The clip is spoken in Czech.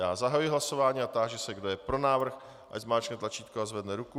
Já zahajuji hlasování a táži se, kdo je pro návrh, ať zmáčkne tlačítko a zvedne ruku.